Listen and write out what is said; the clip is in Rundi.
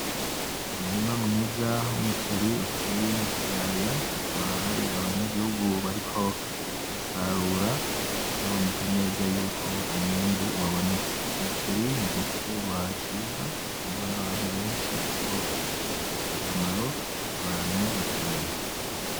Umurima mwiza w'umuceri uteye mu kiyaya hakaba hari abanyagihugu bariko barasarura bikaboneka neza yuko umwimbu wabonetse , Umuceri n'igiterwa ciza gikundwa n'abantu benshi kuko gifitiye akamaro abantu batari bake.